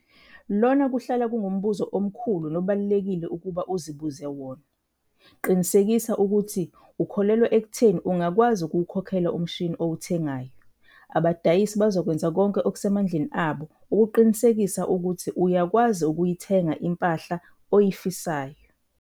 Lona kuhlala kungumbuzo omkhulu nobalulekile ukuba uzibuze wona. Qinisekisa ukuthi ukholelwa ekutheni ungakwazi ukuwukhokhela umshini owuthengayo. Abadayisi bazokwenza konke okusemandleni abo ukuqinisekisa ukuthi uyakwazi ukuyithenga impahla oyifisayo.